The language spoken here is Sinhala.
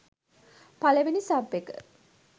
පළවෙනි සබ් එක